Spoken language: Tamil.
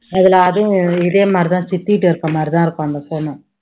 அதுல அதுவும் இதே மாதிரி தான் சித்திட்ட இருக்க மாதிரி தான் இருக்கும் அந்த phone உம்